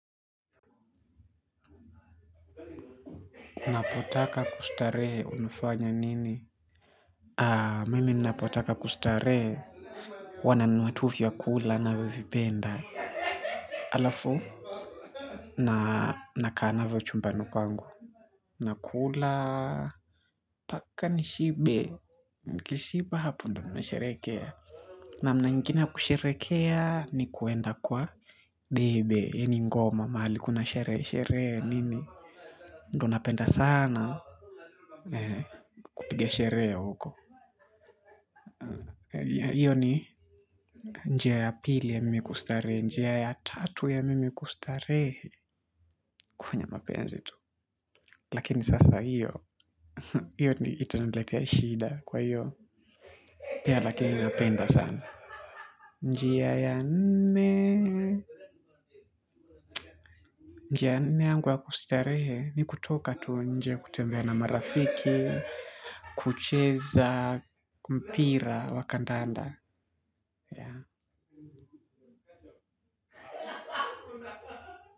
Unapotaka kustarehe unafanya nini. Mimi ninapotaka kustarehe huwa nanunua tu vyakula ninavyovipenda halafu nakaa navyo chumbani kwangu. Nakula mpaka nishibe. Nikishiba hapo ndiyo nimesherehekea. Namna ingine ya kusherehekea ni kwenda kwa debe yaani ngoma mahali kuna sherehe sherehe nini. Ndiyo napenda sana kupiga sherehe huko. Hiyo ni njia ya pili ya mimi kustarehe njia ya tatu ya mimi kustarehe kufanya mapenzi tu lakini sasa hiyo hiyo itaniletea shida kwa hiyo pia lakini napenda sana njia ya nne njia ya nne yangu ya kustarehe ni kutoka tu nje kutembea na marafiki kucheza mpira wa kandanda yeah.